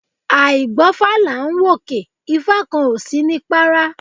Àìgbófá là n wòkè, ifa kan o si ni para